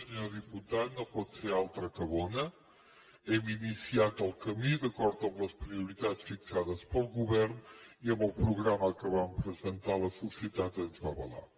senyor diputat no pot ser altra que bona hem iniciat el camí d’acord amb les prioritats fixades pel govern i amb el programa que vam presentar la societat ens va avalar